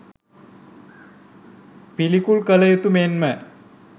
පිළිකුල් කළ යුතු මෙන්ම